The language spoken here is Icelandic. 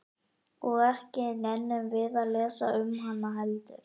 Og ekki nennum við að lesa um hana heldur?